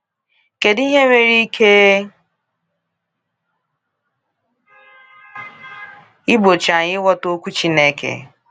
Kedu ihe nwere ike igbochi anyị ịghọta Okwu Chineke?